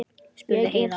spurði Heiða.